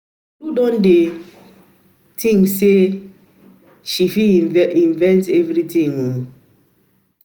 Tolu don dey knit very well as if na she invent the thing